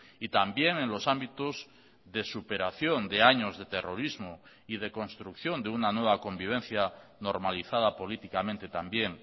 y también en los ámbitos de superación de años de terrorismo y de construcción de una nueva convivencia normalizada políticamente también